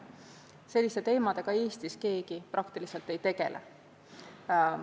Selliste teemadega Eestis keegi ei tegele.